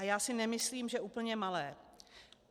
A já si nemyslím, že úplně malé.